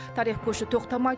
тарих көші тоқтамайды